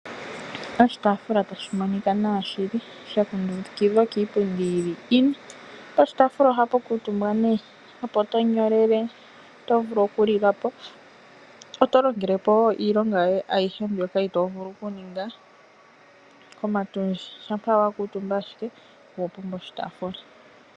Oshitafula tashi monika nawa shili sha kundukidhwa kiipundi yi li ine, poshitafula ohapu kuutumba nee, opo to nyolele, oto vulu okulilapo. Oto longelepo wo iilonga yoye ayihe mbyoka ito vulu kuninga komatundji shampa wa kuutumba ashike, owa pumbwa oshitafula.